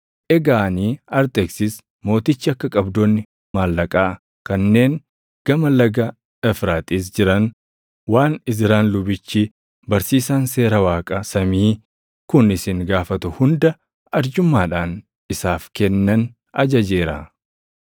Egaa ani Arxeksis Mootichi akka qabdoonni maallaqaa kanneen Gama Laga Efraaxiis jiran waan Izraan lubichi, barsiisaan Seera Waaqa samii kun isin gaafatu hunda arjummaadhaan isaaf kennan ajajeera;